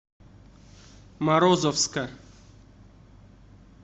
морозовска